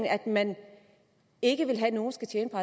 at man ikke vil have at nogle skal tjene på